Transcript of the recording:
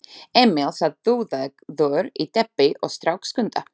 Emil sat dúðaður í teppi og strauk Skunda.